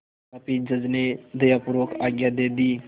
तथापि जज ने दयापूर्वक आज्ञा दे दी